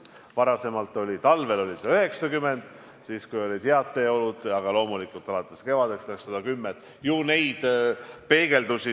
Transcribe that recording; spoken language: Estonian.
Varem oli talvel lubatud 90 kilomeetrit tunnis, ka siis, kui olid head teeolud, ja alates kevadest mindi üle 110-le.